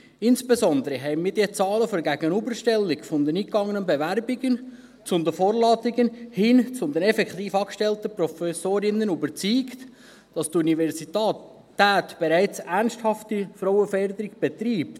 Insbesondere haben uns die Zahlen der Gegenüberstellung der eingegangenen Bewerbungen zu den Vorladungen, hin zu den effektiv angestellten Professorinnen davon überzeugt, dass die Universität bereits ernsthafte Frauenförderung betreibt.